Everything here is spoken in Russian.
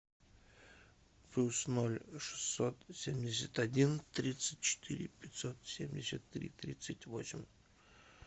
плюс ноль шестьсот семьдесят один тридцать четыре пятьсот семьдесят три тридцать восемь